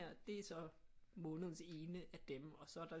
Det er så månedens ene af dem og så er der